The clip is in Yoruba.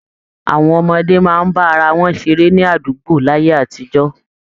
Àwọn ọmọdé máa ń bá ara wọn ṣeré ní àdùgbó láyé àtijọ́